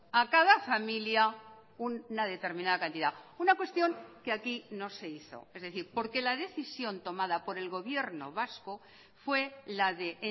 a cada familia una determinada cantidad una cuestión que aquí no se hizo es decir porque la decisión tomada por el gobierno vasco fue la de